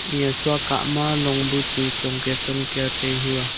eya sua kah ma long bu chu chongkia chongkia tai hua.